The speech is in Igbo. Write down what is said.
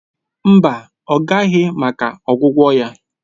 Mba, ọ bịaghị maka ọgwụgwọ ya